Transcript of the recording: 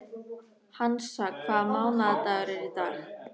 Hansa, hvaða mánaðardagur er í dag?